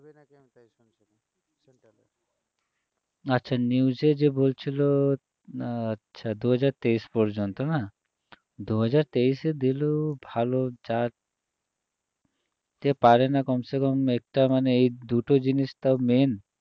আচ্ছা news এ যে বলছিল আহ আচ্ছা দু হাজার তেইশ পর্যন্ত না দু হাজার তেশে দিলেও ভালো যা তে পারে না কমসে কম একটা মানে এই দুটো জিনিস তাও main